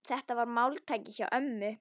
Þetta var máltæki hjá ömmu.